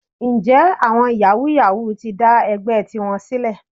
Ǹjẹ́ àwọn yàwúú-yawuù ti ń dá ẹgbẹ́ tiwọn sílẹ̀?